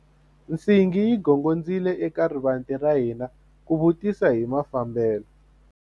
Nsingi yi gongondzile eka rivanti ra hina ku vutisa hi mafambelo.